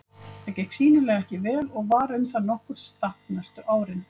Það gekk sýnilega ekki vel og var um það nokkurt stapp næstu árin.